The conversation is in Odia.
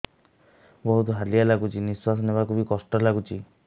ବହୁତ୍ ହାଲିଆ ଲାଗୁଚି ନିଃଶ୍ବାସ ନେବାକୁ ଵି କଷ୍ଟ ଲାଗୁଚି